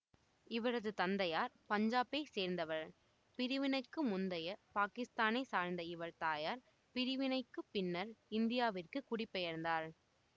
இவரது தந்தையார் பஞ்சாபைச் சேர்ந்தவர் பிரிவினைக்கு முந்தைய பாகிஸ்தானைச் சார்ந்த இவர் தாயார் பிரிவினைக்குப் பின்னர் இந்தியாவிற்கு குடிபெயர்ந்தார்